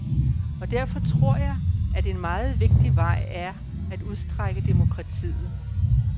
Og derfor tror jeg, at en meget vigtig vej er at udstrække demokratiet.